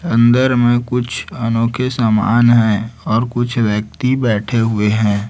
अंदर में कुछ अनोखे समान है और कुछ व्यक्ति बैठे हुए हैं।